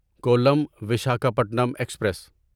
Kollam Visakhapatnam express